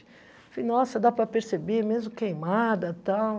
Falei, nossa, dá para perceber, mesmo queimada e tal.